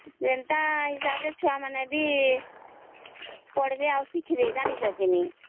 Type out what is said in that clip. ସେନ୍ତା ହିସାବ ରେ ଛୁଆ ମାନେ ପଢ଼ବେ ଆଉ ଶିଖ ବେ ଜାଣିଛ କେ ନାହିଁ